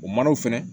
O manaw fɛnɛ